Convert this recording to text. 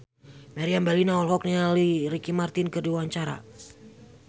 Meriam Bellina olohok ningali Ricky Martin keur diwawancara